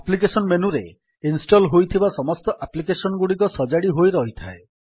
application ମେନୁରେ install ହୋଇଥିବା ସମସ୍ତ ଆପ୍ଲିକେଶନ୍ ଗୁଡିକ ସଜାଡି ହୋଇ ରହିଥାଏ